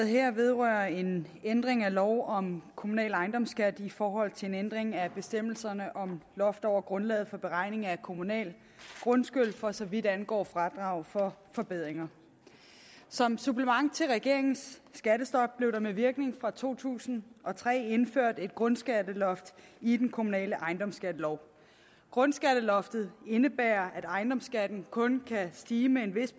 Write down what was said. her vedrører en ændring af lov om kommunal ejendomsskat i forhold til en ændring af bestemmelserne om loft over grundlaget for beregning af kommunal grundskyld for så vidt angår fradrag for forbedringer som supplement til regeringens skattestop blev der med virkning fra to tusind og tre indført et grundskatteloft i den kommunale ejendomsskattelov grundskatteloftet indebærer at ejendomsskatten uanset kun kan stige med en vis